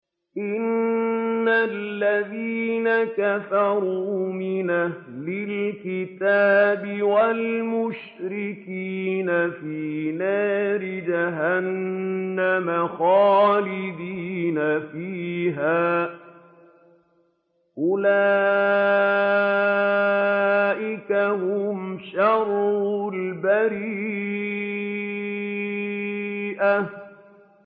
إِنَّ الَّذِينَ كَفَرُوا مِنْ أَهْلِ الْكِتَابِ وَالْمُشْرِكِينَ فِي نَارِ جَهَنَّمَ خَالِدِينَ فِيهَا ۚ أُولَٰئِكَ هُمْ شَرُّ الْبَرِيَّةِ